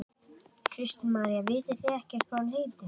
Kristín María: Vitið þið ekkert hvað hún heitir?